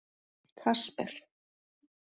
Kasper